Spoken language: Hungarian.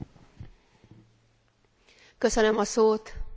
Csatlakozom az előttem szóló képviselőtársaimhoz.